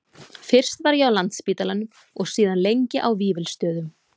Fyrst var ég á Landspítalanum og síðan lengi á Vífilsstöðum.